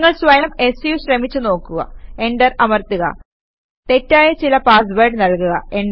നിങ്ങൾ സ്വയം സു ശ്രമിച്ച് നോക്കുക എന്റർ അമർത്തുക തെറ്റായ ചില പാസ് വേഡ് നല്കുക